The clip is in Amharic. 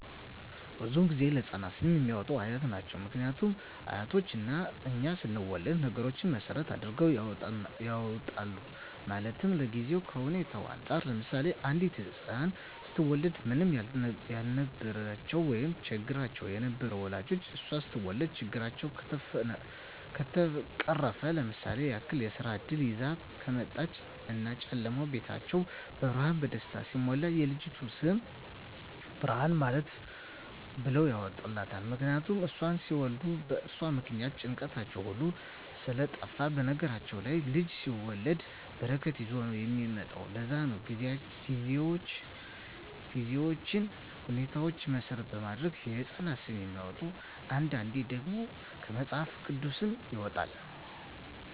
ብዙዉን ጊዜ ለህፃናት ስም የሚያወጡት አያት ናቸዉ ምክንያቱም አያቶቻችን እኛ ስንወለድ ነገሮች መሰረት አድርገዉ ያወጡልናል ማለትም ከጊዜዉ ከሁኔታዉ እንፃር ለምሳሌ አንዲት ህፃን ስትወለድ ምንም ያልነበራቸዉ ወይም ቸግሯቸዉ የነበሩ ወላጆቿ እሷ ስትወለድ ችግራቸዉ ከተፈቀረፈ ለምሳሌ ያክል የስራ እድል ይዛ ከመጣች እና ጨለማዉ ቤታቸዉ በብርሃን በደስታ ሲሞላ የልጅቱ ስም ብርሃን ብለዉ ያወጡላታል ምክንያቱም እሷን ሲወልዱ በእርሷ ምክንያት ጭንቀታቸዉ ሁሉ ስለጠፍ በነገራችን ላይ ልጅ ሲወለድ በረከት ይዞ ነዉ የሚመጣዉ ለዛ ነዉ ጊዜዎችን ሁኔታዎች መሰረት በማድረግ የህፃናት ስም የሚወጣዉ አንዳንዴ ደግሞ ከመፅሀፍ ቅዱስም ይወጣል